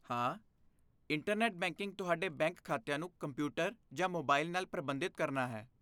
ਹਾਂ, internet banking ਤੁਹਾਡੇ bank ਖਾਤਿਆਂ ਨੂੰ ਕੰਪਿਊਟਰ ਜਾਂ ਮੋਬਾਈਲ ਨਾਲ ਪ੍ਰਬੰਧਿਤ ਕਰਨਾ ਹੈ।